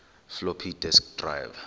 floppy disk drive